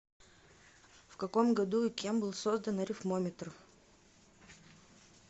в каком году и кем был создан арифмометр